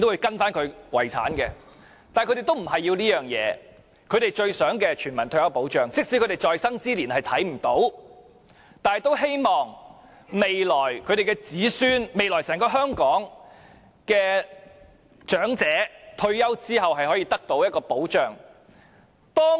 但他們要的不是這樣，他們最想要的是全民退休保障，即使在生之年看不到推出這項政策，也希望未來他們的子孫，未來整個香港的長者，退休後可以得到保障。